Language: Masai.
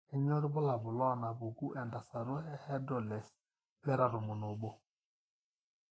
Kainyio irbulabul onaapuku entasato ehydroxylase beta tomon oobo?